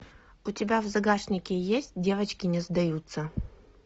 у тебя в загашнике есть девочки не сдаются